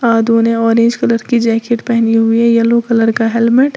आधो ने orange colour की जैकेट पहनी हुई येलो कलर का हेलमेट --